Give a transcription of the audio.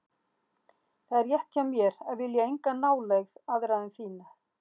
Það er rétt hjá mér að vilja enga nálægð aðra en þína.